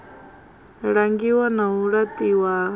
langiwa na u laṱiwa ha